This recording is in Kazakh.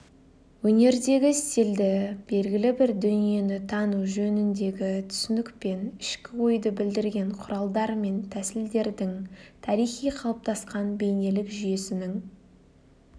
өнердегі стильді белгілі бір дүниені тану жөніндегі түсінікпен ішкі ойды білдірген құралдар мен тәсілдердің тарихи қалыптасқан бейнелік жүйесінің